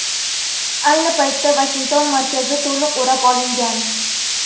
Ayni paytda Vashington markazi to‘liq o‘rab olingan.